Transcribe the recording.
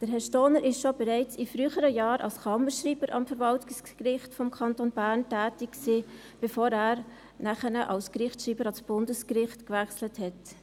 Herr Stohner war bereits in früheren Jahren als Kammerschreiber am Verwaltungsgericht des Kantons Bern tätig, bevor er als Gerichtsschreiber ans Bundesgericht wechselte.